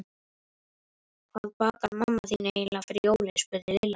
Hvað bakar mamma þín eiginlega fyrir jólin? spurði Lilla.